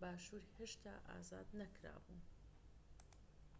باشور هێشتا ئازاد نەکرا بوو